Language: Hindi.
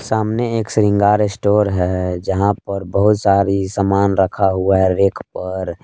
सामने एक शृंगार स्टोर है जहां पर बहुत सारी समान रखा हुआ है रेक पर।